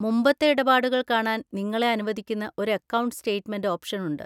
മുമ്പത്തെ ഇടപാടുകൾ കാണാൻ നിങ്ങളെ അനുവദിക്കുന്ന ഒരു അക്കൗണ്ട് സ്റ്റേറ്റ്മെന്റ് ഓപ്ഷൻ ഉണ്ട്.